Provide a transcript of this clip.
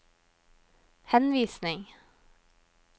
henvisning